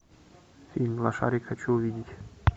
фильм лошарик хочу увидеть